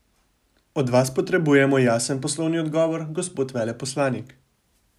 Od vas potrebujemo jasen poslovni odgovor, gospod veleposlanik.